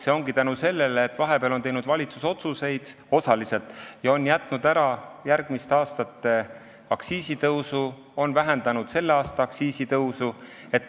See ongi tänu sellele, et vahepeal on teinud valitsus otsuseid – on jätnud osaliselt ära järgmiste aastate aktsiisitõusu ja vähendanud selle aasta aktsiisitõusu.